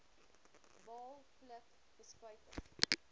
baal pluk bespuiting